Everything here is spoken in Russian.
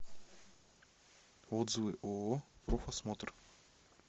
отзывы ооо профосмотр